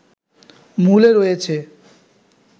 মূলে রয়েছে